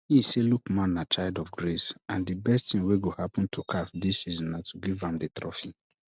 e say lookman na child of grace and di best tin wey go happun to caf dis season na to give am di trophy